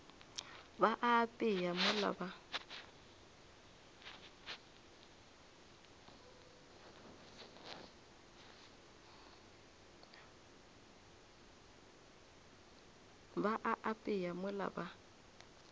ba a apea mola ba